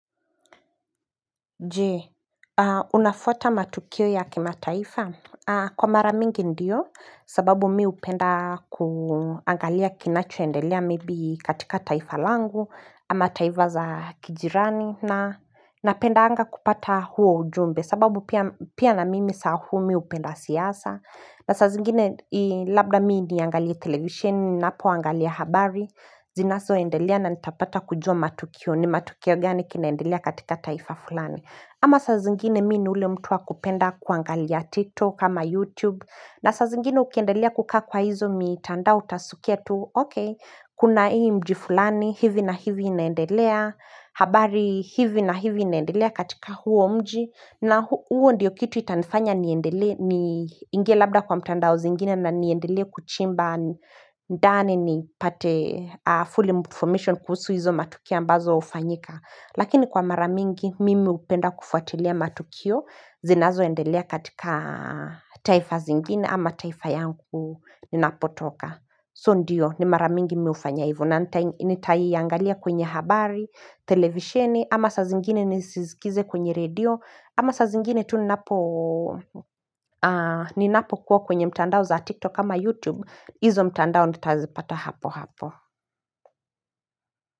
Je, unafuata matukio ya kima taifa? Kwa maramingi ndiyo, sababu mi upenda kuangalia kinacho endelea maybe katika taifa langu, ama taifa za kijirani, na napenda anga kupata huo ujumbe, sababu pia na mimi sahumi upenda siyasa. Na sa zingine labda mii ndiye angalia televisheni napo angalia habari Zinaso endelia na nitapata kujua matukio ni matukio gani kinaendelelea katika taifa fulani ama saa zingine mi ni ile mtu wa kupenda kuangalia tiktok ama YouTube na sa zingine ukiendelea kukaa kwa hizo mitandao utasukia tu Ok, kuna hii mjifulani hivi na hivi inaendelea habari hivi na hivi inaendelea katika huo mji na huo ndiyo kitu itanifanya niendele ni ingie labda kwa mtandao zingine na niendele kuchimba ndane ni pate full information kuhusu hizo matukio ambazo ufanyika. Lakini kwa maramingi mimi upenda kufuatilia matukio zinazo endelea katika taifa zingine ama taifa yangu ninapotoka. So ndiyo ni maramingi miufanyaivo na nitai yangalia kwenye habari, televisheni, ama sa zingine nisizikize kwenye radio, ama sa zingine tu ninapo kuwa kwenye mtandao za TikTok ama YouTube, izo mtandao nitazipata hapo hapo.